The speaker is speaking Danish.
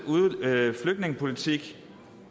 flygtningepolitik